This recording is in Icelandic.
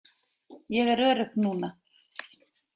Ég er örugg núna.